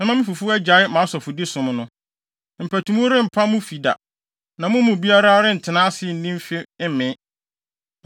Mɛma mo fifo agyae mʼasɔfodi som no. Mpatuwu rempa mo fi da na mo mu biara rentena ase nni mfe mmee,